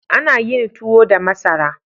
Ana yin tuwo da masara.